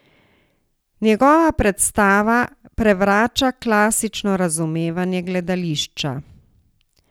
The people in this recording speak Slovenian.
Njegova predstava prevrača klasično razumevanje gledališča.